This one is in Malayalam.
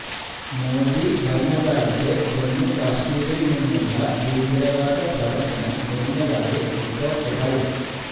മോദി ഭരണ കാലത്ത് ജമ്മു കാശ്മീരില് നിന്നുള്ള ഭീകരവാദ പ്രവര്ത്തനം കുറഞ്ഞതായി റിപ്പോര്ട്ടുകള്